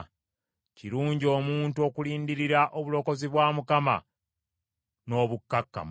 Kirungi omuntu okulindirira obulokozi bwa Mukama n’obukkakkamu.